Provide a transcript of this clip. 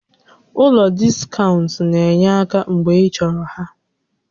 Ụlọ diskaụnt na-enye aka mgbe ịchọrọ ha